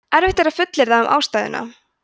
erfitt er að fullyrða um ástæðuna